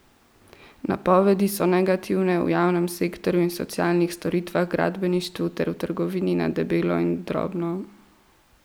Napovedi so negativne v javnem sektorju in socialnih storitvah, gradbeništvu ter v trgovini na debelo in drobno.